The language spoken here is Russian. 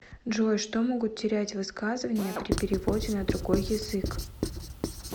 джой что могут терять высказывания при переводе на другой язык